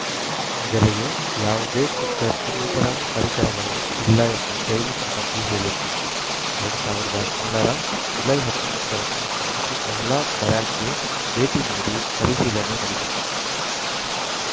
ಮೊದಲಿಗೆ ಯಾವುದೇ ಕುಕ್ಕರ್‌ ಇನ್ನಿತರ ಪರಿಕರಗಳು ಇಲ್ಲ ಎಂದು ಜೈಲು ಸಿಬ್ಬಂದಿ ಹೇಳಿತ್ತು ಎರಡ್ ಸಾವಿರದ ಹದಿನೇಳ ರ ಜುಲೈ ಹತ್ತೊಂಬತ್ತ ರಂದು ಸಮಿತಿ ಮಹಿಳಾ ಬ್ಯಾರಕ್‌ಗೆ ಭೇಟಿ ನೀಡಿ ಪರಿಶೀಲನೆ ನಡೆಸಿತ್ತು